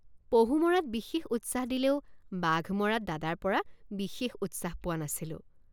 পহু মৰাত বিশেষ উৎসাহ দিলেও বাঘ মৰাত দাদাৰপৰা বিশেষ উৎসাহ পোৱা নাছিলোঁ।